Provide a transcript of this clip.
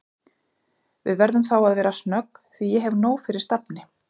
Við verðum þá að vera snögg því ég hef nóg fyrir stafni